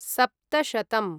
सप्तशतम्